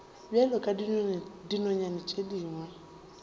bjalo ka dinonyana tše dingwe